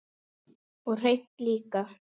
Og hreint líka!